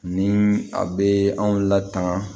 Ni a bee anw la tan